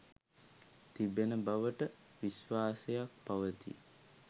තිබෙන බවට විශ්වාසයක් පවතී